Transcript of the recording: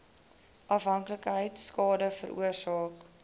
afhanklikheid skade veroorsaak